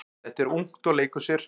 Þetta er ungt og leikur sér.